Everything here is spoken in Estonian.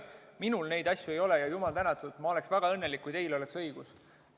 Minul neid andmeid ei ole ja jumala eest, ma oleksin väga õnnelik, kui teil oleks õigus.